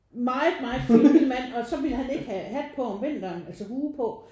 Meget meget fin lille mand og så ville han ikke have hat på om vinteren altså hue på